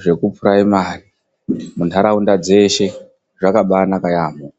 zveku phuraimari muntaraunda dzeshe. Zvakabaanaka yaamho.